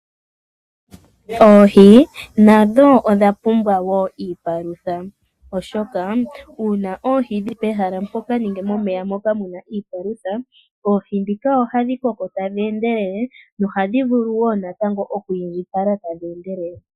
Oohi nadho odha pumbwa wo iipalutha, oshoka uuna oohi dhi li pehala mpoka, nenge momeya moka mu na iipalutha, oohi ndhika ohadhi koko tadhi endelele, nohadhi vulu wo natango oku indjipala tadhi endelele.